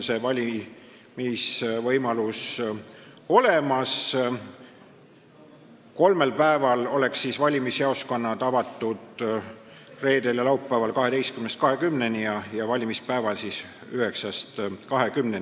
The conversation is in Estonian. Valimisjaoskonnad oleksid avatud kolmel päeval: reedel ja laupäeval 12–20 ja valimispäeval 9–20.